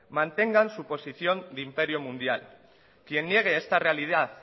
mantengan su posición de imperio mundial quien niegue esta realidad